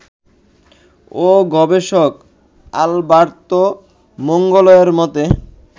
ও গবেষক আলবার্তো মাঙ্গোয়েলের মতে